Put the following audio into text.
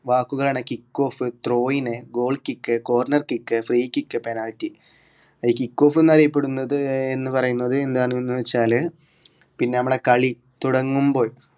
വാക്കുകളാണ് kickoff throwing goal kick corner kick free kick penalty അത് kickoff എന്നറിയപ്പെടുന്നത് എന്ന് പറയുന്നത് എന്താണ്ന്ന് വെച്ചാൽ പിന്ന നമ്മളെ കളി തുടങ്ങുമ്പോൾ